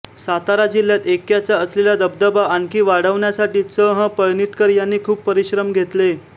सातारा जिल्ह्यात ऐक्यचा असलेला दबदबा आणखी वाढवण्यासाठी चं ह पळणिटकर यांनी खूप परिश्रम घेतले